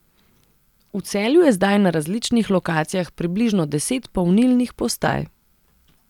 V Celju je zdaj na različnih lokacijah približno deset polnilnih postaj.